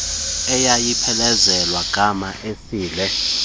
eyayiphelezelwa ngama esile